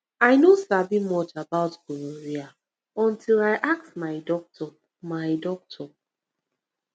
i no sabi much about gonorrhea until i ask my doctor my doctor